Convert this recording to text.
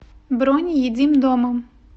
бронь едим дома